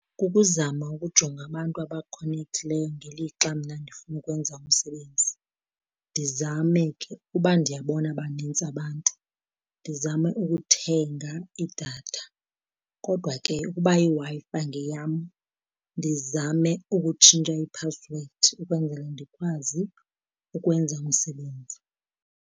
Kukuzama ukujonga abantu abakhonekthileyo ngelixa mna ndifuna ukwenza umsebenzi, ndizame ke uba ndiyabona banintsi abantu, ndizame ukuthenga idatha. Kodwa ke ukuba iWi-Fi ngeyam ndizame ukutshintsha iphasiwedi ukwenzela ndikwazi ukwenza umsebenzi.